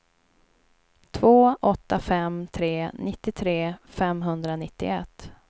två åtta fem tre nittiotre femhundranittioett